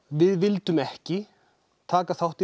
við vildum ekki taka þátt í